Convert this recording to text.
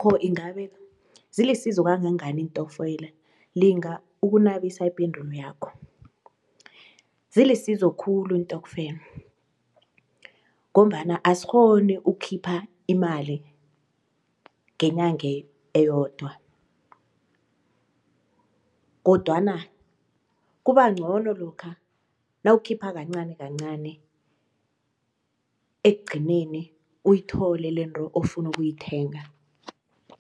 Ingabe zilisizo kangangani iintokfela? Linga ukunabisa ipendulo yakho. Zilisizo khulu iintokfela ngombana asikghoni ukukhipha imali ngenyange eyodwa kodwana kubangcono lokha nawukhipha kancani kancani ekugcineni uyithole lento ofuna ukuyithenga.